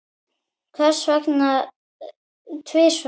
Hvers vegna tvisvar?